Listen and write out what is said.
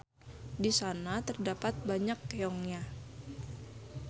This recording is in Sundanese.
Di sana terdapat banyak keongnya.